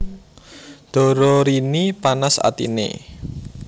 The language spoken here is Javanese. Dororini panas atiné